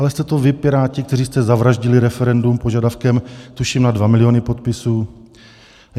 Ale jste to vy, Piráti, kteří jste zavraždili referendum požadavkem tuším na dva miliony podpisů.